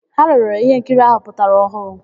Ha lere íhénkiri áhụ̀ pụtara ọhụụ.